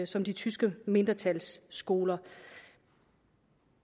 som det tyske mindretals skoler